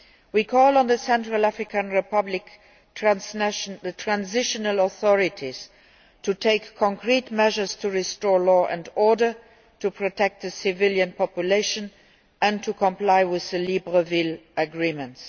We call on the Central African Republic's transitional authorities to take concrete measures to restore law and order, to protect the civilian population and to comply with the Libreville Agreements.